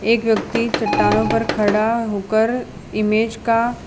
एक व्यक्ति चट्टानों पर पे खड़ा होकर इमेज का--